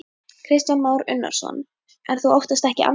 Kristján Már Unnarsson: En þú óttast ekki andstöðu?